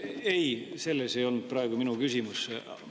Ei, selles ei olnud praegu minu küsimus.